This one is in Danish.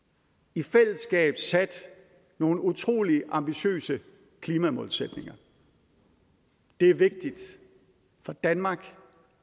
i fællesskab sat nogle utrolig ambitiøse klimamålsætninger det er vigtigt for danmark